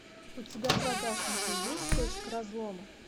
у тебя в загашнике есть точка разлома